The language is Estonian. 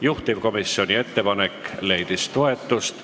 Juhtivkomisjoni ettepanek leidis toetust.